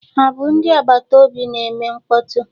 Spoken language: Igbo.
Ha bụ ndị agbata obi na-eme mkpọtụ?